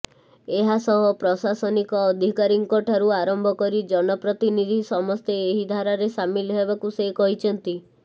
ଏହାସହ ପ୍ରଶାସନିକ ଅଧିକାରୀଙ୍କ ଠାରୁ ଆରମ୍ଭ କରି ଜନପ୍ରତିନିଧି ସମସ୍ତେ ଏହି ଧାରାରେ ସାମିଲ ହେବାକୁ ସେ କହିଛନ୍ତି